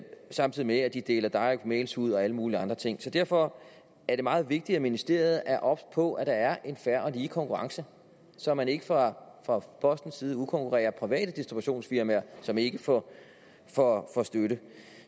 samtidig med at de deler direct mails ud og alle mulige andre ting så derfor er det meget vigtigt at ministeriet er obs på at der er en fair og lige konkurrence så man ikke fra postens side udkonkurrerer private distributionsfirmaer som ikke får får støtte